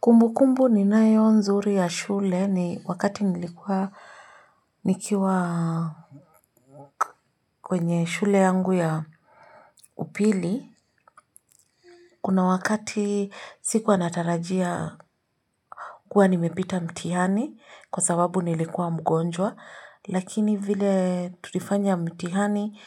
Kumbukumbu ninayo nzuri ya shule ni wakati nilikuwa Nikiwa Kwenye shule yangu ya upili. Kuna wakati sikuwa natarajia kuwa nimepita mtihani kwa sababu nilikuwa mgonjwa lakini vile tulifanya mtihani